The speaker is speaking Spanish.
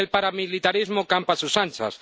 Y el paramilitarismo campa a sus anchas.